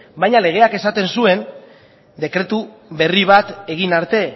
baina legeak esaten zuen dekretu berri bat egin arte